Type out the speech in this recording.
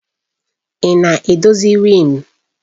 Ị na-edozi riimu?